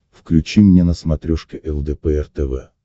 включи мне на смотрешке лдпр тв